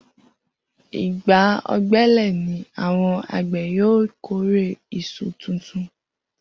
Igbà ò̩gbe̩lè̩ ni àwo̩n àgbè̩ yóò kórè is̩u tuntun